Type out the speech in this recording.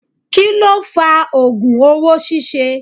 Kí ló fa ogùn owó ṣíṣe?